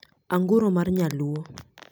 anguro mar nyaluo